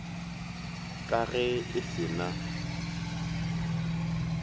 ka ge e se na